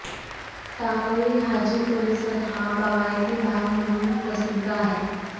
टाकळी हाजी परिसर हा बागायती भाग म्हणून प्रसिद्ध आहे